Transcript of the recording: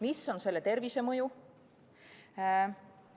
Mis on selle tervisemõju?